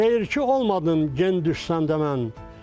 Şeirçi olmadım gen düşəndən mən.